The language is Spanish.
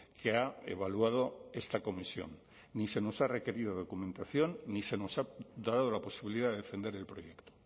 que ha evaluado esta comisión ni se nos ha requerido documentación ni se nos ha dado la posibilidad de defender el proyecto